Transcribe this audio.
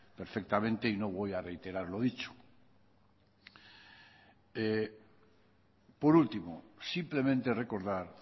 perfectamente y no voy a reiterar lo dicho por último simplemente recordar